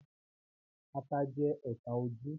Ata jẹ́ ọ́ta ojú